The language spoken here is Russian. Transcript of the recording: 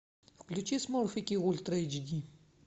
включи смурфики ультра эйч ди